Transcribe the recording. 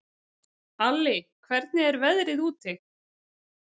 Alli, hvernig er veðrið úti?